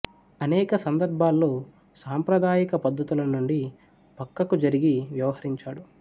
అనేక సందర్భాల్లో సాంప్రదాయిక పద్ధతుల నుండి ప్రక్కకు జరిగి వ్యవహరించాడు